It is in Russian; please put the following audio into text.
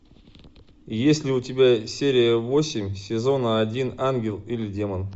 есть ли у тебя серия восемь сезона один ангел или демон